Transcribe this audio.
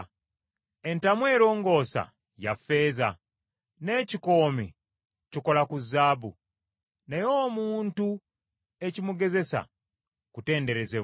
Entamu erongoosa ya ffeeza n’ekikoomi kikola ku zaabu, naye omuntu ekimugezesa kutenderezebwa.